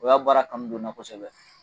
O y'a baara kanu don n na kosɛbɛ